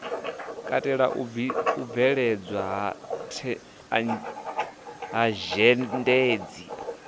katela u bveledzwa ha zhendedzi